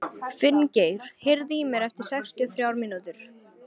Finngeir, heyrðu í mér eftir sextíu og þrjár mínútur.